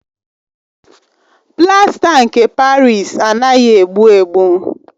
Plasta nke Parịsi anaghị egbu egbu.